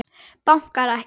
Bankar ekki.